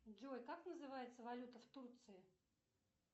джой как называется валюта в турции